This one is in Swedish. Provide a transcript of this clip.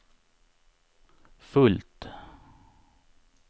fullt